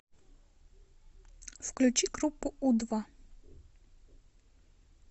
включи группу у два